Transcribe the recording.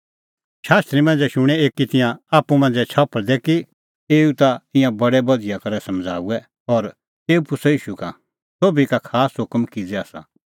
शास्त्री मांझ़ै शुणें एकी तिंयां आप्पू मांझ़ै छफल़दै कि एऊ ता ईंयां बडै बधिया करै समझ़ाऊऐ और तेऊ पुछ़अ ईशू का सोभी का खास हुकम किज़ै आसा